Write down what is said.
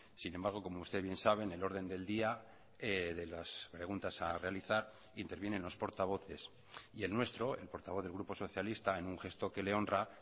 sin embargo como usted bien sabe en el orden del día de las preguntas a realizar intervienen los portavoces y el nuestro el portavoz del grupo socialista en un gesto que le honra